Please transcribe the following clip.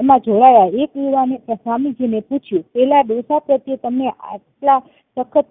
એમના જોડાયા એક યુવાને સ્વામીજી ને પૂછ્યું પેલા ડોસા પ્રત્યે તમે આટલા સખત